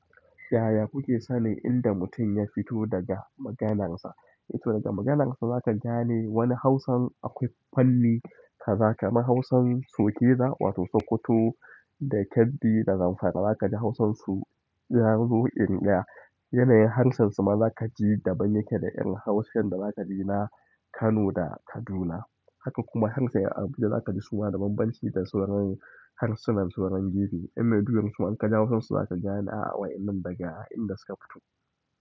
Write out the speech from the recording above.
Yaya kuke sanin inda mutum ya fito daga maganarsa? To daga maganarsa zaka gane wani hausan akwai fanni kaza, kaman hausan sokena wato hausa sokota, da Kebbi da Zamfara zakaji hausan su nazo inga yanayin harshen su ma zakaji daban yake da 'yan hausan da zakaji na Kano da Kaduna. Haka kuma hausan 'yan Abuja zakaji da banban ci da sauran harshinan 'yan gefe. 'Yan Maiduguri suma inka ji hausan su zaka gane a'a wa'yan nan daga in da suka fito.